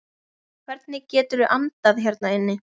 Hvernig geturðu andað hérna inni?